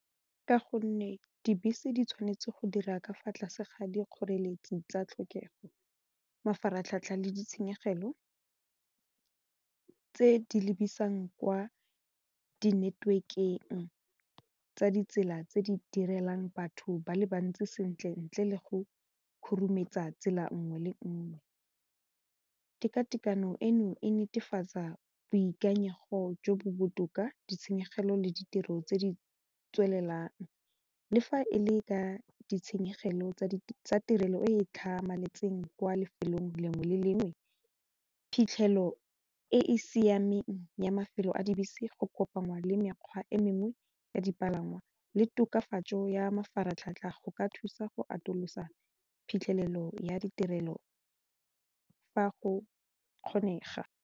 Ka gonne dibese di tshwanetse go dira ka fa tlase ga dikgoreletsi tsa tlhokego mafaratlhatlha le ditshenyegelo tse di lebisang kwa di-network-eng tsa ditsela tse di direlang batho ba le bantsi sentle ntle le go khurumetsa tsela nngwe le nngwe, tekatekano eno e netefatsa boikanyego jo bo botoka ditshenyegelo le ditiro tse di tswelelang le fa e le ka ditshenyegelo tsa tirelo e e tlhamaletseng kwa lefelong le lengwe le lengwe phitlhelo e e siameng ya mafelo a dibese go kopangwa le mekgwa e mengwe ya dipalangwa le tokafatso ya mafaratlhatlha go ka thusa go atolosa phitlhelelo ya ditirelo fa go kgonega.